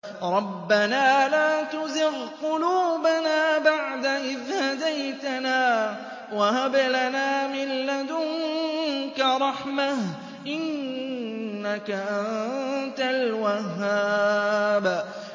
رَبَّنَا لَا تُزِغْ قُلُوبَنَا بَعْدَ إِذْ هَدَيْتَنَا وَهَبْ لَنَا مِن لَّدُنكَ رَحْمَةً ۚ إِنَّكَ أَنتَ الْوَهَّابُ